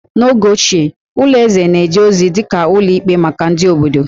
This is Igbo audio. N'oge ochie, ụlọ eze na-eje ozi dị ka ụlọ ikpe maka ndị obodo